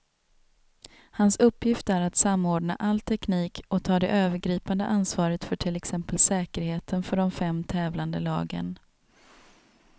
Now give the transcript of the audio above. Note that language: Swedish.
Hans uppgift är att samordna all teknik och ta det övergripande ansvaret för till exempel säkerheten för de fem tävlande lagen.